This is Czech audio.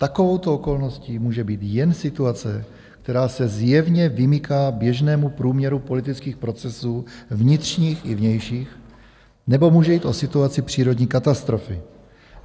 Takovouto okolností může být jen situace, která se zjevně vymyká běžnému průměru politických procesů vnitřních i vnějších, nebo může jít o situaci přírodní katastrofy.